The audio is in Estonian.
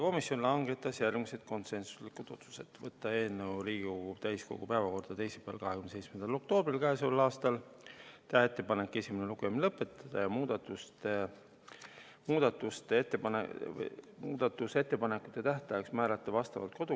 Komisjon langetas järgmised konsensuslikud otsused: võtta eelnõu Riigikogu täiskogu päevakorda teisipäeval, 27. oktoobril k.a, teha ettepanek esimene lugemine lõpetada ja määrata muudatusettepanekute tähtajaks vastavalt kodu- ja töökorra seadusele 10 tööpäeva, s.t 10. november kell 17.15.